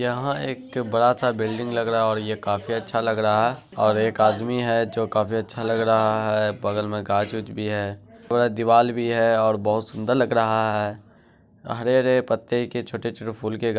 यहां एक बड़ा-सा बिल्डिंग लग रहा है और ये बहुत काफी अच्छा लग रहा है। और एक आदमी है जो काफी अच्छा लग रहा है। बगल में गाछ-वृक्ष भी है। थोड़ा दिवाल भी है और बहुत सुंदर लग रहा है। हरे-हरे पत्ते के छोटे-छोटे फूल के गा--